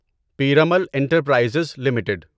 Piramal enterprises limited